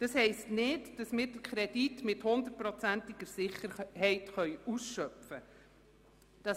Dies bedeutet nicht, dass wir den Kredit zu hundertprozentiger Sicherheit ausschöpfen können.